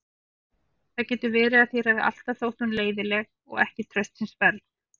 Það getur verið að þér hafi alltaf þótt hún leiðinleg og ekki traustsins verð.